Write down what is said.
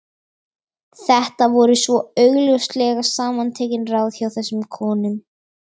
Þetta voru svo augljóslega samantekin ráð hjá þessum konum.